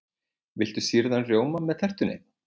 Viltu sýrðan rjóma með tertunni?